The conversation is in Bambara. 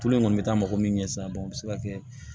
Tulu in kɔni bɛ taa mɔgɔ min ɲɛ sa o bɛ se ka kɛ